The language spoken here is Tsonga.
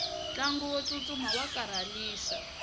ntlangu wo tsutsuma wa karhalisa